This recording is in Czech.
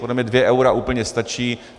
Podle mě 2 eura úplně stačí.